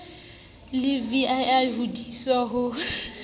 le vii ho diswa ho